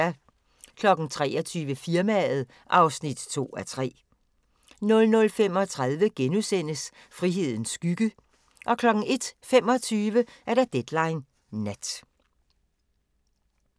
23:00: Firmaet (2:3) 00:35: Frihedens skygge * 01:25: Deadline Nat